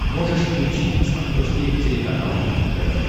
можешь включить на смотрешке телеканал рубль тв